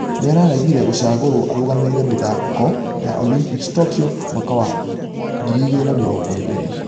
Nĩaraegĩrera gũcagorwo arũgamĩrĩre mĩthako ya olympics tokyo mwaka wa 2020.